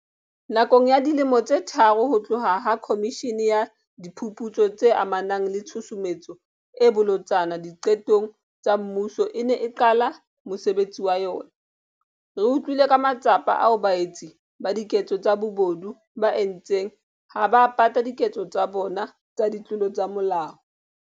Nakong ya dilemo tse tharo ho tloha ha Khomishene ya Diphuputso tse amanang le Tshusumetso e Bolotsana Diqetong tsa Mmuso e ne e qala mosebetsi wa yona, re utlwile ka matsapa ao baetsi ba diketso tsa bobodu ba a entseng ha ba pata diketso tsa bona tsa ditlolo tsa molao.